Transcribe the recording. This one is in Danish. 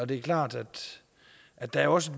det er klart at der også